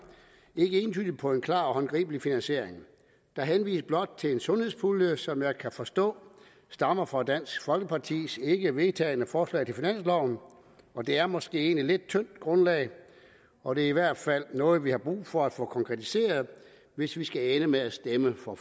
ikke entydigt på en klar og håndgribelig finansiering der henvises blot til en sundhedspulje som jeg kan forstå stammer fra dansk folkepartis ikkevedtagne forslag til finansloven og det er måske et lidt tyndt grundlag og det er i hvert fald noget vi har brug for at få konkretiseret hvis vi skal ende med at stemme for